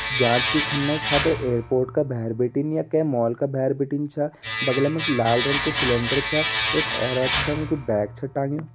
जांच की खन्ने खातिर एयरपोर्ट का भैर बिटिन य कै मॉल क भैर बिटिन छ। बगला मा इक लाल कु सिलेंडर छ। एक औरत छ वै कु बैग छ टाँग्युं।